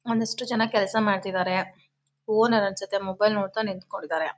ಒಂದಿಷ್ಟು ಜನ ಕೆಲಸ ಮಾಡ್ತಾ ಇದಾರೆ ಓನರ್ ಅನ್ಸುತ್ತೆ ಮೊಬೈಲ್ ನೋಡ್ತಾ ನಿತ್ಕೊಂಡ್ ಇದಾರೆ.